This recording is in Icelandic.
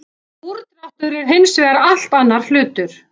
Úrdráttur er hins vegar allt annar hlutur.